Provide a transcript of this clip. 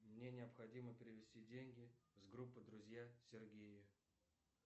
мне необходимо перевести деньги с группы друзья сергею